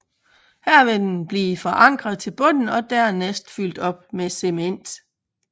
Her vil den blive forankret til bunden og dernæst fyldt op med cement